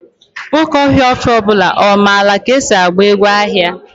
Nwoke ohaofia ọ bula mara ka esi agba egwu agha?